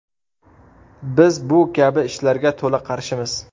Biz bu kabi ishlarga to‘la qarshimiz.